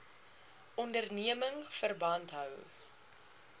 onderneming verband hou